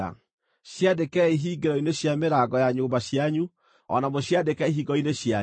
Ciandĩkei hingĩro-inĩ cia mĩrango ya nyũmba cianyu o na mũciandĩke ihingo-inĩ cianyu,